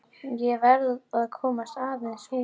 Ég verð að komast aðeins út.